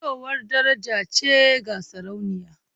Fitowar daraja ce ga Sarauniya